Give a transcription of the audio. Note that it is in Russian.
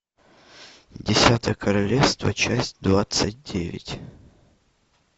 десятое королевство часть двадцать девять